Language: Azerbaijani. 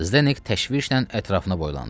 Zdenek təşvişlə ətrafına boylandı.